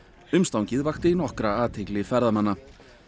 umstangið vakti nokkra athygli ferðamanna